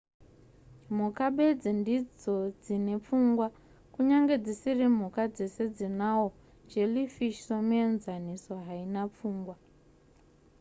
mhuka bedzi ndidzo dzine pfungwa kunyangwe dzisiri mhuka dzese dzinahwo jellyfish somuenzaniso haina pfungwa